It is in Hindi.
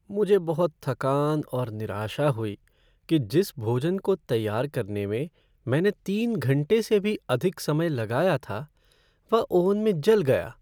मुझे बहुत थकान और निराशा हुई कि जिस भोजन को तैयार करने में मैंने तीन घंटे से भी अधिक समय लगाया था, वह ओवन में जल गई।